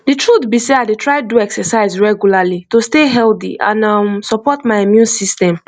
the truth be sey i dey try do exercise regularly to stay healthy and um support my immune system